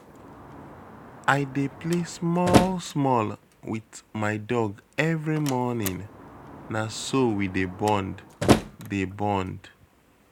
I dey play small-small wit my dog every morning, na so we dey bond. dey bond.